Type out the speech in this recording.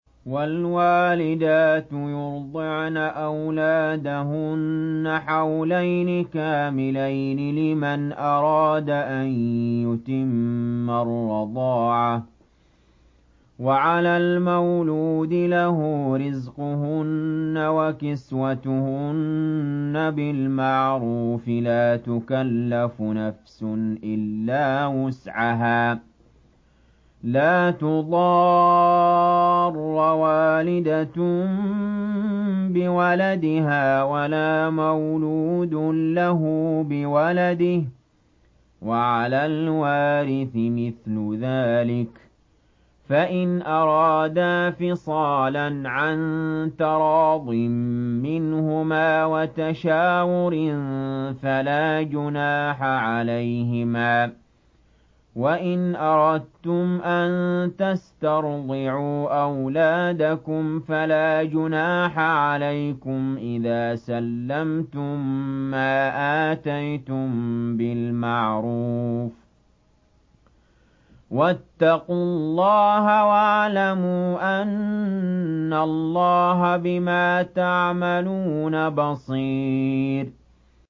۞ وَالْوَالِدَاتُ يُرْضِعْنَ أَوْلَادَهُنَّ حَوْلَيْنِ كَامِلَيْنِ ۖ لِمَنْ أَرَادَ أَن يُتِمَّ الرَّضَاعَةَ ۚ وَعَلَى الْمَوْلُودِ لَهُ رِزْقُهُنَّ وَكِسْوَتُهُنَّ بِالْمَعْرُوفِ ۚ لَا تُكَلَّفُ نَفْسٌ إِلَّا وُسْعَهَا ۚ لَا تُضَارَّ وَالِدَةٌ بِوَلَدِهَا وَلَا مَوْلُودٌ لَّهُ بِوَلَدِهِ ۚ وَعَلَى الْوَارِثِ مِثْلُ ذَٰلِكَ ۗ فَإِنْ أَرَادَا فِصَالًا عَن تَرَاضٍ مِّنْهُمَا وَتَشَاوُرٍ فَلَا جُنَاحَ عَلَيْهِمَا ۗ وَإِنْ أَرَدتُّمْ أَن تَسْتَرْضِعُوا أَوْلَادَكُمْ فَلَا جُنَاحَ عَلَيْكُمْ إِذَا سَلَّمْتُم مَّا آتَيْتُم بِالْمَعْرُوفِ ۗ وَاتَّقُوا اللَّهَ وَاعْلَمُوا أَنَّ اللَّهَ بِمَا تَعْمَلُونَ بَصِيرٌ